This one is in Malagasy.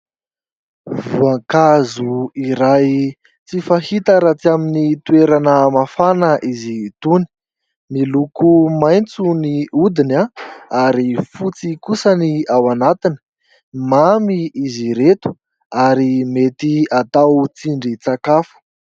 Voankazo iray tsy fahita raha tsy amin'ny toerana mafana izy itony. Miloko maitso ny hodiny ary fotsy kosa ny anatiny. Mamy izy ireto, ary mety atao tsindrin-tsakafo.